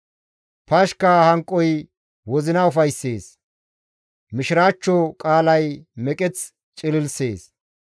Pashka hanoy wozina ufayssees; mishiraachcho qaalay meqeth cililisees.